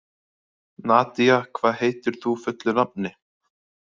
Nadia, hvað heitir þú fullu nafni?